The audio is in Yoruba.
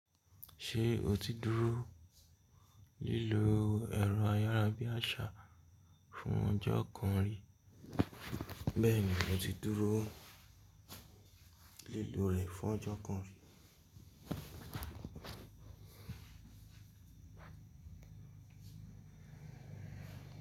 Ṣé o ti dúró lílo ẹ̀rọ ayárabíàṣá fún ọjọ́ kan rí? Bẹ́ẹ̀ni, mo ti dúró lílo rẹ̀ fún ọjọ́ kan rí.